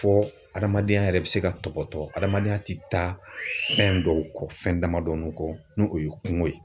Fɔ adamadenya yɛrɛ bɛ se ka tɔpɔtɔ adamadenya tɛ taa fɛn dɔw kɔ fɛn damadɔ kɔ n'i o ye kungo ye